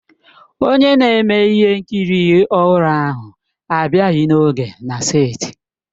Onye na-eme ihe nkiri ọhụrụ ahụ abịaghị n'oge na seeti.